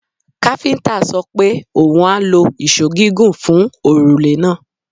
Káfíńńtà sọ pe oun a lo ìṣó gígùn fun òrùlé náà.